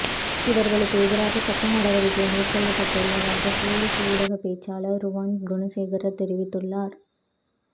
இவர்களுக்கு எதிராக சட்ட நடவடிக்கை மேற் கொள்ளப்பட்டுள்ளதாக பொலிஸ் ஊடக பேச்சாளர் ருவாண் குணசேகர தெரிவித்துள்ளார்